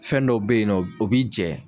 Fɛn dɔ bɛ ye nɔ o b'i jɛ.